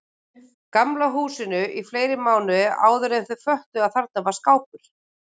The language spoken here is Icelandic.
Gamla húsinu í fleiri mánuði áðuren þau föttuðu að þarna var skápur.